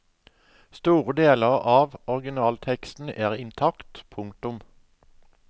Store deler av originalteksten er intakt. punktum